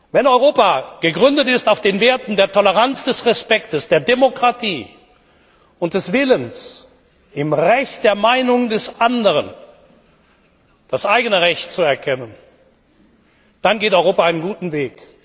Wenn Europa gegründet ist auf den Werten der Toleranz, des Respekts, der Demokratie und des Willens, im Recht der Meinung des Anderen das eigene Recht zu erkennen, dann geht Europa einen guten Weg.